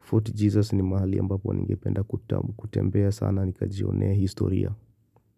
Fort Jesus ni mahali ambapo ningependa kutembea sana nikajionea historia.